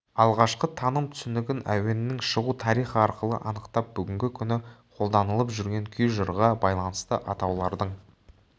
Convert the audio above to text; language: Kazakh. алғашқы таным-түсінігін әуеннің шығу тарихы арқылы анықтап бүгінгі күні қолданылып жүрген күй жырға байланысты атаулардың